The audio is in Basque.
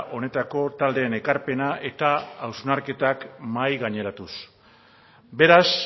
honetako taldeen ekarpena eta hausnarketak mahai gaineratuz beraz